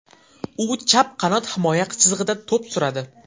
U chap qanot himoya chizig‘ida to‘p suradi.